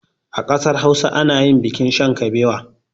A ƙasar hausa anayin bikin shan kabewa